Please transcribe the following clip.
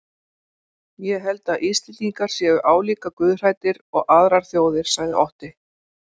Ég held að Íslendingar séu álíka guðhræddir og aðrar þjóðir, sagði Otti.